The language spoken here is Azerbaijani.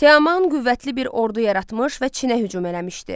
Teoman qüvvətli bir ordu yaratmış və Çinə hücum eləmişdi.